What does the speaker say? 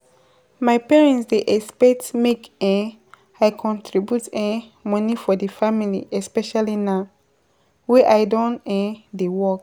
My family dey have high expectations for expectations for me, but I um dey need to communicate my own goals and priorities. um